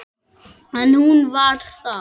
En hún var það.